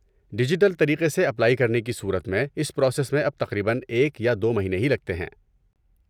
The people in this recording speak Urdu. ڈیجیٹل طریقے سے اپلائی کرنے کی صورت میں اس پراسس میں اب تقریباً ایک یا دو مہینے ہی لگتے ہیں۔